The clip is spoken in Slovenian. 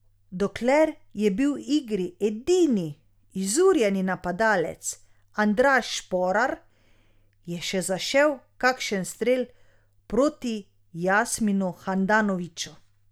Dokler je bil v igri edini izurjeni napadalec Andraž Šporar, je še zašel kakšen strel proti Jasminu Handanoviću.